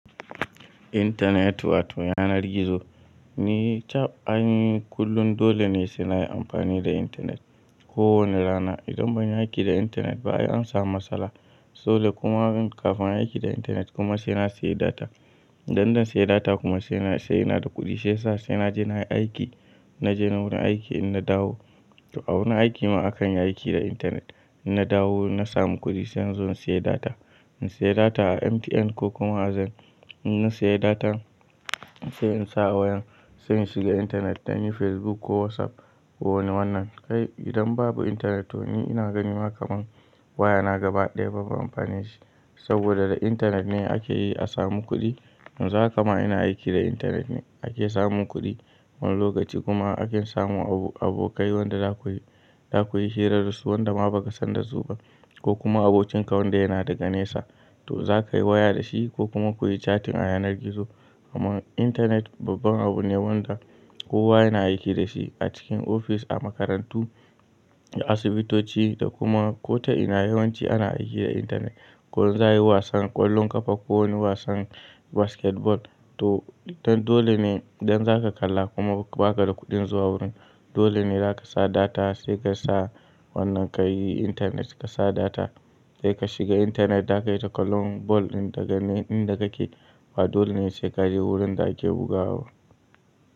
Intaneti wato yanar gizo ni chap aini kullum dole ne sai na yi amfani da intanet. Ko wane rana idan ban yi aiki da intanet ba an samu matsala. Dole kuma kafin a yi aiki da intanet kuma sai na sayi data. Idan zan sayi data kuma sai ina da kuɗi. Shiyasa sai na je na yi aiki. Na je ni wurin aiki in na dawo. To a wurin aiki ma akan yi aiki da intanet. Na dawo na samu kuɗi sai in zo in sayi data. In sayi data a MTN ko kuma a ZAIN. In na sayi data sai in sa a wayan sai in shiga intanet idan yi Facebook ko WhatsApp ko wani wannan. Kai idan babu intanet to ni ina ganin ma kamar waya na gaba ɗaya babu amfanin shi. Saboda da intanet ne ake yi a samu kuɗi. Yanxu hakama ina aiki da intanet ake samun kuɗi. Wani lokaci kuma ake samu abokai wanda za ku yi, za ku yi hira da su wanda ma ba ka san da su ba ko kuma abokin ka wanda yana daga nesa. To za ka yi waya da shi ko kuma ku yi cattin a yanar gizo. Amman intanet babban abu ne wanda kowa yana aiki da shi a cikin ofis, a makarantu, a asibitoci da kuma ko ta ina yawanci ana aiki da intanet. Ko zan yi wasan ƙwallon ƙafa ko wani wasan basketball to tadole ne idan za ka kalla kuma ba ka da kuɗin zuwa wurin dole ne za ka sa data sai ka sa wannan ka yi intanet. Ka sa data sai ka shiga intanet za ka yi ta ƙallon ball ɗin daga nan inda kake. Ba dole ne sai ka je wurin da ake bugawaba.